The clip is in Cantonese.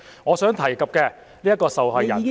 我所提及的受害人是......